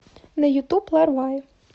на ютуб ларвае